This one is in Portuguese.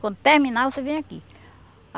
Quando terminar, você vem aqui.